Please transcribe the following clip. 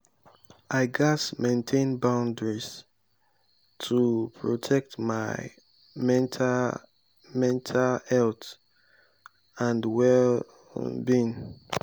i gats maintain boundaries to protect my mental health mental health and well-being.